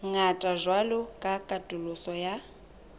ngata jwalo ka katoloso ya